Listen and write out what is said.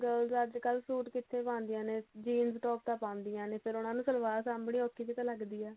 girls ਅੱਜਕਲ suit ਕਿੱਥੇ ਪਾਉਂਦੀਆਂ ਨੇ jeans top ਤਾਂ ਪਾਉਂਦੀਆਂ ਨੇ ਫਿਰ ਉਹਨਾ ਨੂੰ ਸਲਵਾਰ ਸਾਂਭਨੀ ਔਖੀ ਜੀ ਤਾਂ ਲਗਦੀ ਆ